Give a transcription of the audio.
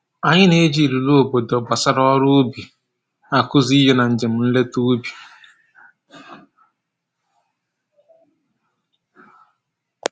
Anyị na-eji ilulu obodo gbasara ọrụ ubi akụzi ihe na njem nleta ubi